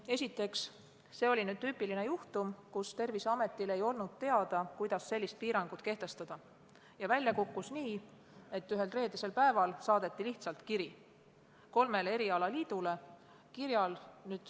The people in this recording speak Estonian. Esiteks, see oli tüüpiline juhtum, kus Terviseametil ei olnud teada, kuidas sellist piirangut kehtestada, ja välja kukkus nii, et ühel reedesel päeval saadeti lihtsalt kiri kolmele erialaliidule.